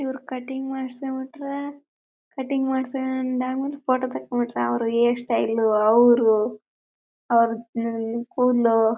ಇವರು ಕಟಿಂಗ್ ಮಾಡ್ಸ್ಕೊಂಡ್ ಬಿಟ್ರೆ ಕಟಿಂಗ್ ಮಾಡ್ಸ್ಕೊಂಡ್ ಆದ್ಮೇಲೆ ಫೋಟೋ ತಕೊಂಡ್ಬಿಟ್ರೆ ಅವರು ಹೇರ ಸ್ಟೈಲ್ ಅವ್ರು ಅವರದ್ ಕೂದಲು--